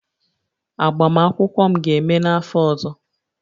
Agbamakwụkwọ m ga-eme n'afọ ọzọ